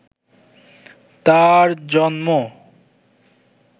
তার জন্ম